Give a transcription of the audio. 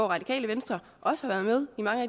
radikale venstre også har været med